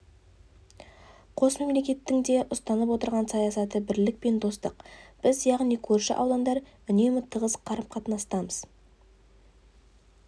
қос мемлекеттің де ұстанып отырған саясаты бірлік пен достық біз яғни көрші аудандар үнемі тығыз қарым-қатынастамыз